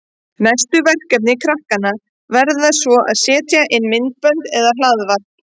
Næstu verkefni krakkanna verða svo að setja inn myndbönd eða hlaðvarp.